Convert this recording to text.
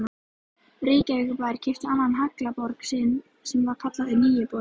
Reykjavíkurbær keypti annan haglabor sinn sem var kallaður Nýi borinn.